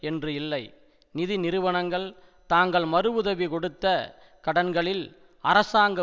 என்று இல்லை நிதி நிறுவனங்கள் தாங்கள் மறு உதவி கொடுத்த கடன்களில் அரசாங்க